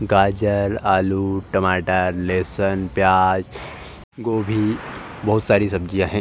गाजर आलू टमाटर लेसन प्याज गोभी बहुत सारी सब्जियां है।